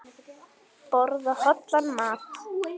Borða hollan mat.